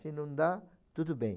Se não dá, tudo bem.